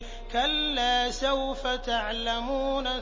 كَلَّا سَوْفَ تَعْلَمُونَ